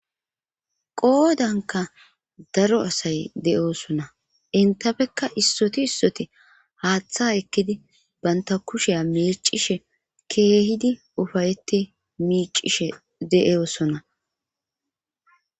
Qoodanka daro asay de7oosona intafekka issoti issoti haaththa ekkidi banta kushea meicishe keehidi ufayeti miicishe de7osona.